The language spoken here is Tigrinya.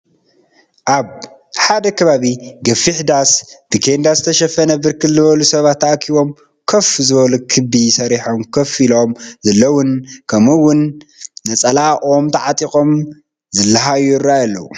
ኣብ ሓደ ከባቢ ገፊሕ ዳስ ብኬንዳ ዝተሸፈን ብርክት ዝበሉ ሰባት ተኣኪቦም ኮፍ ዝበሉ ክቢ ሰሪሖም ኮፍ ኢሎም ዘለውን ከም ኡ እውንነፀላ ኦም ተዓጢቆም ዝላሃዩን ይረ ኣዩ ኣለው::